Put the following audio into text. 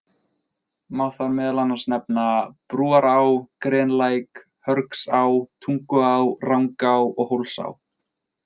Má þar meðal annars nefna Brúará, Grenlæk, Hörgsá, Tunguá, Rangá og Hólsá.